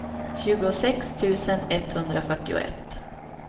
tjugosex tusen etthundrafyrtioett